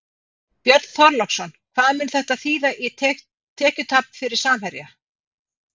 Björn Þorláksson: Hvað mun þetta þýða í tekjutap fyrir Samherja?